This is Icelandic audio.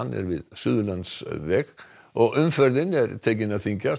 er við Suðurlandsveg og umferðin er tekin að þyngjast